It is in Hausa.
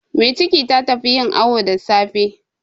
Mai ciki ta tafi yin awu da safe.